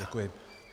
Děkuji.